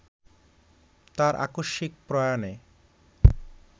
তাঁর আকস্মিক প্রয়াণে